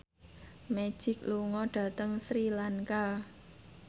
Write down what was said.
Magic lunga dhateng Sri Lanka